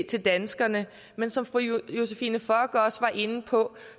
til danskerne men som fru josephine fock også var inde på